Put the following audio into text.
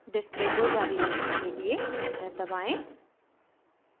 display को जारी रखने के लिए एंटर दबाएं